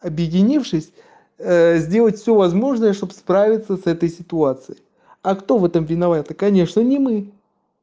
объединившись сделать все возможное чтобы справиться с этой ситуацией а кто в этом виноват конечно не мы